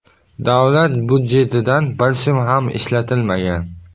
Davlat budjetidan bir so‘m ham ishlatilmagan.